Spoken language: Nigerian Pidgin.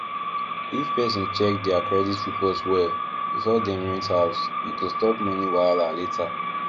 if person check their credit report well before dem rent house e go stop money wahala later